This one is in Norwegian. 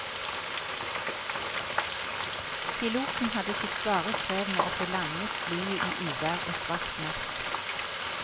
Piloten hadde sitt svare strev med å få landet flyet i uvær og svart natt.